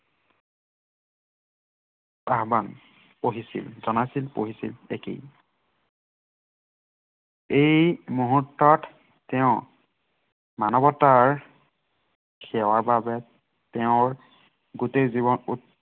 আহ্বান পঢ়িছিল, জনাইছিল, পঢ়িছিল। এটি এই মুহুৰ্তত তেওঁ মানৱতাৰ সেৱাৰ বাবে, তেওঁৰ গোটেই জীৱন